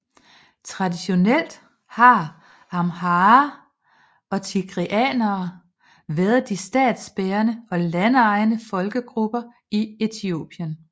Traditionelt har amharer og tigreanere været de statsbærende og landejende folkegrupper i Etiopien